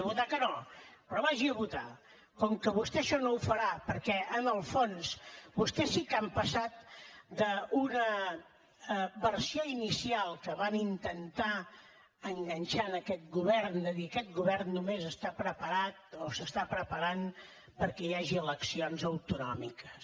votar que no però vagi a votar com que vostè això no ho farà perquè en el fons vostès sí que han passat d’una versió inicial que van intentar enganxar en aquest govern de dir aquest govern només està preparat o s’està preparant perquè hi hagi eleccions autonòmiques